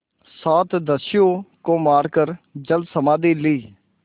सात दस्युओं को मारकर जलसमाधि ली